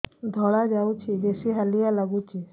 ଧଳା ଯାଉଛି ବେଶି ହାଲିଆ ଲାଗୁଚି